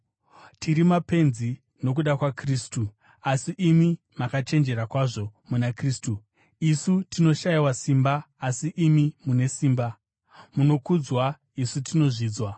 Tiri mapenzi nokuda kwaKristu, asi imi makachenjera kwazvo muna Kristu! Isu tinoshayiwa simba, asi imi mune simba! Munokudzwa, isu tinozvidzwa!